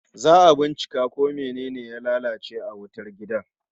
Za'a bincika ko mene ne ya lalace a wutar gidan